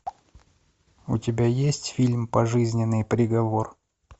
у тебя есть фильм пожизненный приговор